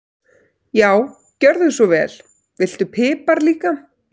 Já, gjörðu svo vel. Viltu pipar líka?